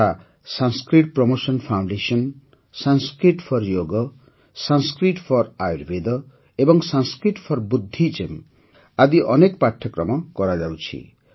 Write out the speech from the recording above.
ଯଥା Sanskrit promotion foundation Sanskrit for yoga Sanskrit for Ayurveda ଏବଂ Sanskrit for Buddhism ଆଦି ଅନେକ ପାଠ୍ୟକ୍ରମ କରାଉଛନ୍ତି